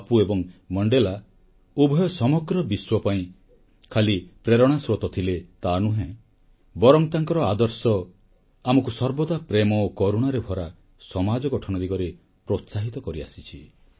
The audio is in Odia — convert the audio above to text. ବାପୁ ଏବଂ ମଣ୍ଡେଲା ଉଭୟ ସମଗ୍ର ବିଶ୍ୱ ପାଇଁ ଖାଲି ପ୍ରେରଣାର ସ୍ରୋତ ଥିଲେ ତାନୁହେଁ ବରଂ ତାଙ୍କ ଆଦର୍ଶ ଆମକୁ ସର୍ବଦା ପ୍ରେମ ଓ କରୁଣା ଭରା ସମାଜ ଗଠନ ଦିଗରେ ପ୍ରୋତ୍ସାହିତ କରିଆସିଛି